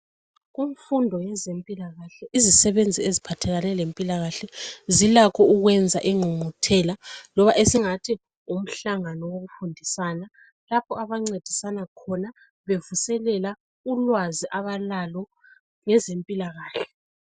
Kumfunda yezempilakahle, izisebenzi eziphathelane lempilakahle, zilakho ukwenza ingqungquthela, loba esingathi ngumhlangano, wokufundisana. Lapho ababuthana khona, bevuselela ulwazi abalalo ngezempilakahle.